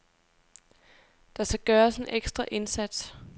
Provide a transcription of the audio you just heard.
Der skal gøres en ekstra indsats.